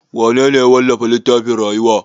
Wanene ya wallafa littafin rayuwa?